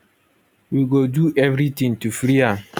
we go do everytin to free am